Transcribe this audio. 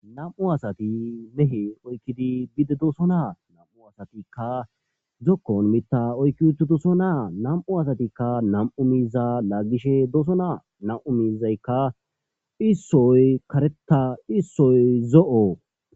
nam7u asati mehe oykkidi bide doosona nam7u asatikka zokkon mitta oykki uttidosona nam7u asatikka nam7u miiza laaggishe doosona nam7u miizaykka issoy kareta issoy zo7o.